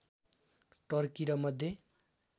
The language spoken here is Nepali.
टर्की र मध्य